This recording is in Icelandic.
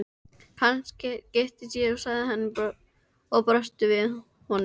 Kannske giftist ég sagði hún og brosti við honum.